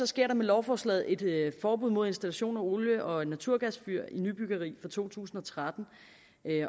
sker der med lovforslaget et forbud mod installation af olie og naturgasfyr i nybyggeri fra to tusind og tretten